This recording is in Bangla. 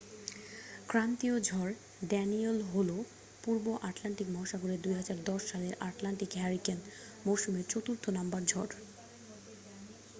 ক্রান্তীয় ঝড় ড্যানিয়েল হল পূর্ব আটলান্টিক মহাসাগরে 2010 সালের আটলান্টিক হারিকেন মৌসুমের চতুর্থ নাম্বার ঝড়